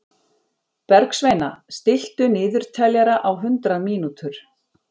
Bergsveina, stilltu niðurteljara á hundrað mínútur.